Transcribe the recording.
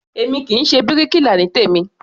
Èmi kì í ṣe bíríkilà ní tèmí.